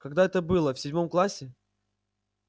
когда это было в седьмом классе